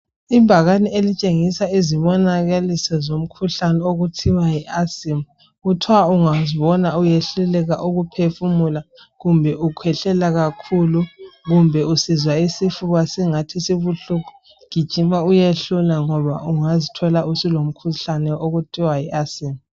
Ibhakane elitshengisa izibonakaliso zomkhuhlane okuthiwa yi asima kuthwa ungazibona uyehluleka ukuphefumula kumbe u khwehlela kakhulu, kumbe usizwa isifuba singathi sibuhlungu gijima uyehlolwa ngoba ungazithola usulo mkhuhlane okuthiwa yi asima.